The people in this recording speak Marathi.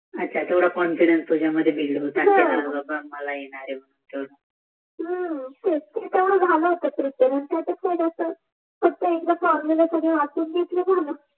तेवडा कॉन्फिडन्स तुझ्यां मध्ये होता हम्म तेवड झाल होत प्रीपेर त्याच्यात कास्य जास्त